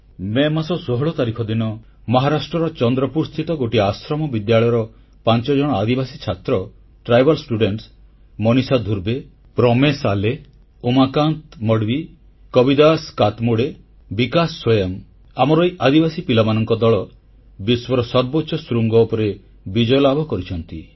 ମେ ମାସ 16 ତାରିଖ ଦିନ ମହାରାଷ୍ଟ୍ରର ଚନ୍ଦ୍ରପୁରସ୍ଥିତ ଗୋଟିଏ ଆଶ୍ରମବିଦ୍ୟାଳୟର 5 ଜଣ ଆଦିବାସୀ ଛାତ୍ର ମନିଷା ଧୁର୍ବେ ପ୍ରମେଶ ଆଲେ ଉମାକାନ୍ତ ମଡୱି କବିଦାସ କାତ୍ମୋଡ଼େ ବିକାଶ ସୋୟାମ ଆମର ଏହି ଆଦିବାସୀ ପିଲାମାନଙ୍କ ଦଳ ବିଶ୍ୱର ସର୍ବୋଚ୍ଚ ଶୃଙ୍ଗ ଉପରେ ବିଜୟ ଲାଭ କରିଛନ୍ତି